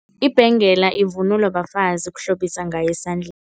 Ibhengela ivunulwa bafazi, ukuhlobisa ngayo esandleni.